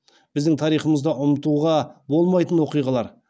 біздің тарихымызда ұмтуға болмайтын оқиғалар